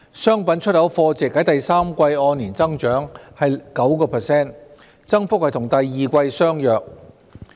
商品出口貨值在第三季按年增長 9%， 增幅與第二季相若。